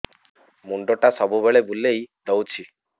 ମୁଣ୍ଡଟା ସବୁବେଳେ ବୁଲେଇ ଦଉଛି